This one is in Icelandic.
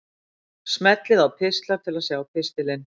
Smellið á Pistlar til að sjá pistilinn.